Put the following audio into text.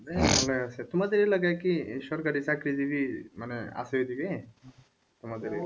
হ্যাঁ আছে, তোমাদের এলাকায় কি সরকারি চাকরিজীবী মানে আছে এদিকে তোমাদের এখানে